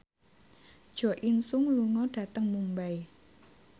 Jo In Sung lunga dhateng Mumbai